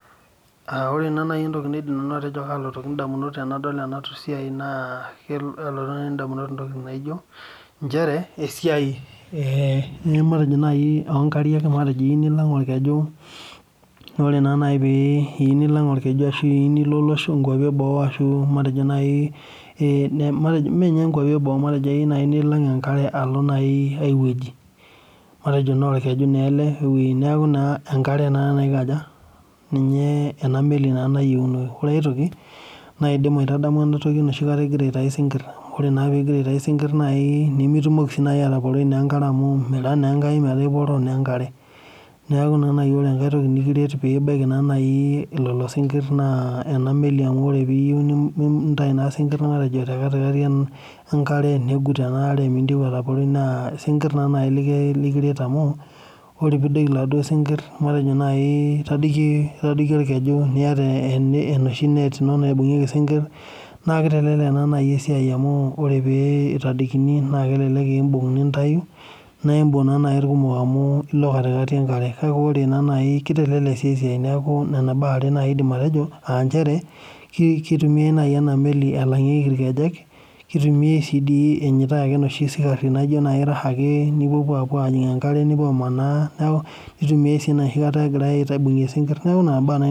Ore entoki naalotoki indamunot naa njere esiai oo ngariak teniyieu nilang' olkeju naa ore naa nai teniyieu nilo ingwapi eboo naa ashu aiweji anaa olkeju naa enkare naa enameli naa Ore enkai naa enoshikata igira aitayu isinkir nimitumoki naa ataporoi enkare niaku ore entoki nikiret naa ena meli amu ore piiyieu nintayu isinkir otii embolos enkare naa ilo iyata enet amu aintadiki ake niibung naa nai ilkumok amu ilo embolos enkare naa kitelek esiai Nena baa are naa nai aaa njere kelangieki naai inameli ilkejek ashu sii inoshi sikhari amanaa ashu aitayu isinkir